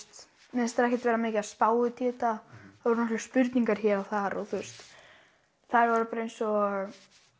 mér finnst þau ekkert vera spá neitt í þetta það voru nokkrar spurningar hér og þar og þær voru bara eins og